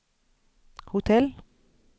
hotell